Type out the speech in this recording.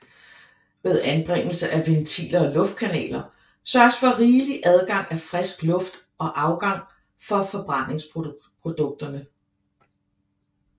Ved anbringelse af ventiler og luftkanaler sørges for rigelig adgang af frisk luft og afgang for forbrændingsprodukterne